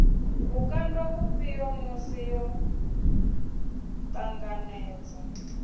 vhukando vhufhio musi yo ṱanganedza